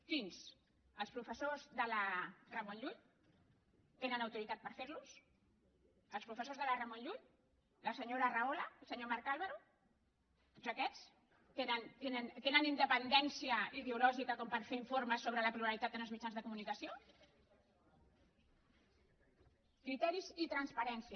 quins els professors de la ramon llull tenen autoritat per fer·los els professors de la ramon llull la senyora rahola el senyor marc ál·varo tots aquests tenen independència ideològica per fer informes sobre la pluralitat en els mitjans de co·municació criteris i transparència